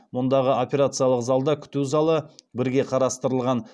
мұндағы операциялық залда күту залы бірге қарастырылған